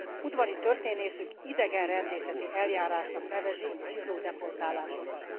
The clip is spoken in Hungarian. Udvari történészük idegenrendészeti eljárásnak nevezi a zsidó deportálásokat.